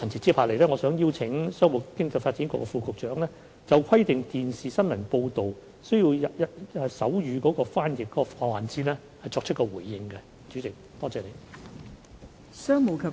接下來，我想邀請商務及經濟發展局副局長就規定電視新聞報道需要手語翻譯的環節作出回應。